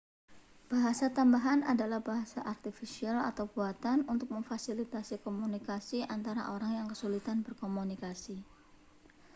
bahasa tambahan adalah bahasa artifisial atau buatan untuk memfasilitasi komunikasi antara orang yang kesulitan berkomunikasi